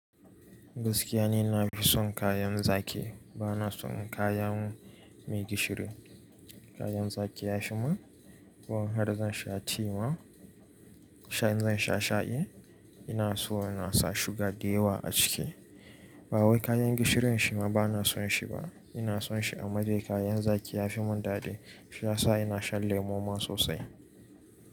Gaskiya ni na fi son kayan zaki ba na son kayan mai gishiri. Kayan zaki ya fi mun. Har da zan sha ti ma, in sha in zan sha sha'i, ina so ina sa shuga da yawa a ciki. Ba wai kayan gishirin shima ba na son shi ba. Ina son shi a madaika kayan zaki ya fi mun dadi. Shi yasa ina sha lemu ma sosai.